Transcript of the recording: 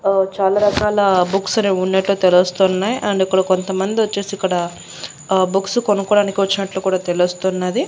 ఆ చాలా రకాల బుక్స్ అనేవున్నట్లు తెలుస్తున్నాయి అండ్ కొంతమంది వచ్చేసి ఇక్కడ ఆ బుక్స్ కొనుక్కోవడానికి వచ్చినట్లు కూడా తెలుస్తున్నది.